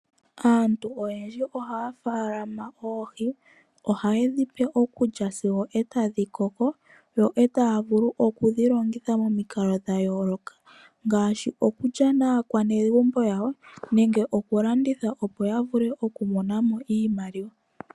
Aantu oyendji ohaya faalama oohi ohaye dhipe okulya sigo otadhi koko yo ee taya vulu okudhilongitha naakwanezimo yawo momikalo dhayooloka ngaashi okulya naakwanezimo yawo nenge okulanditha opo yamonemo iimaliwa yawo.